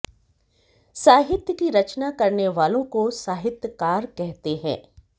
साहित्य की रचना करने वालों को साहित्यकार कहते हैं